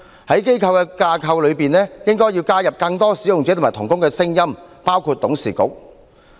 在機構的架構內，應該要加入更多使用者及同工的聲音，包括董事會等。